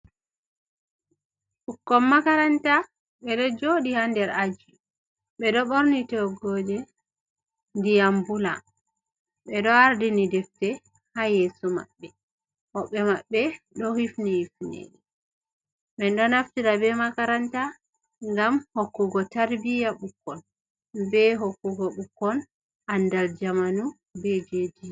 Ɓukkon makaranta ɓeɗo joɗi ha nder aji, ɓeɗo ɓorni toggoje ndiyam bula, ɓeɗo ardini defte ha yeso maɓɓe. woɓɓe maɓɓe ɗo hifni hifneje. minɗo naftira be makaranta bgam hokkugo tarbiya ɓukkon, be hokkugo ɓukkon andal zamanu beje dina.